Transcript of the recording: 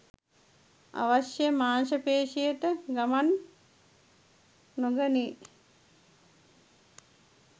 අවශ්‍ය මාංශ පේශියට ගමන් නොගනී.